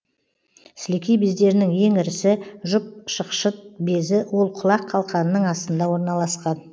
сілекей бездерінің ең ірісі жұп шықшыт безі ол құлақ қалқанының астында орналасқан